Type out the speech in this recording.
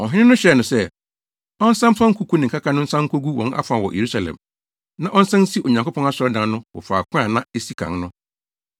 Ɔhene no hyɛɛ no sɛ, ɔnsan mfa nkuku ne nkaka no nsan nkogu wɔn afa wɔ Yerusalem, na ɔnsan nsi Onyankopɔn asɔredan no wɔ faako a na esi kan no.